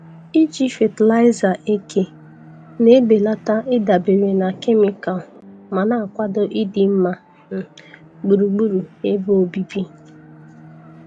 Ịji fatịlaịza eke na-ebelata ịdabere na kemịkal ma na-akwado ịdị mma um gburugburu ebe obibi.